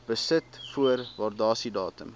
besit voor waardasiedatum